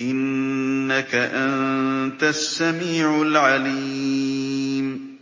إِنَّكَ أَنتَ السَّمِيعُ الْعَلِيمُ